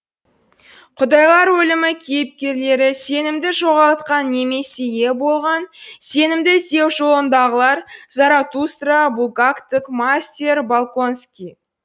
құдайлар өлімі кейіпкерлері сенімді жоғалтқан немесе ие болған сенімді іздеу жолындағылар заратустра булгактік мастер болконский